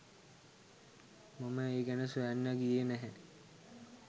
මම ඒ ගැන සොයන්න ගියේ නැහැ.